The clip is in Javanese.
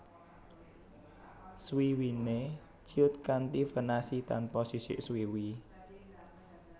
Swiwine ciut kanti venasi tanpa sisik swiwi